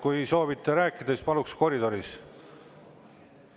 Kui soovite rääkida, siis paluks seda teha koridoris.